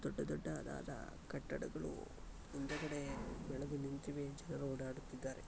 ದೊಡ್ಡ ದೊಡ್ಡದಾದ ಕಟ್ಟಡಗಳು ಹಿಂದುಗಡೆ ಬೆಳೆದು ನಿಂತಿವೆ. ಜನರು ಓಡಾಡುತ್ತಿದ್ದಾರೆ.